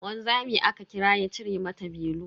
Wanzami aka kira ya cire mata belu.